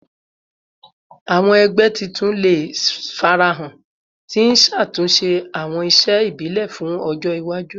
Awọn ẹgbẹ tuntun le farahan, ti n ṣatunṣe awọn iṣe ibile fun ọjọ iwaju